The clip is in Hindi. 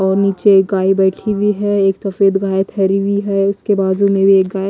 और नीचे एक गाय बैठी हुई है एक सफेद गाय ठहरी है उसके बाजू में भी एक गाय --